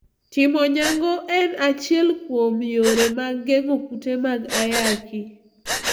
Timo nyango en achiel kuom yore mag geng`o kute mag ayaki.